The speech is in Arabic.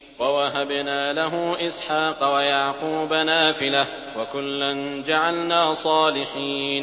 وَوَهَبْنَا لَهُ إِسْحَاقَ وَيَعْقُوبَ نَافِلَةً ۖ وَكُلًّا جَعَلْنَا صَالِحِينَ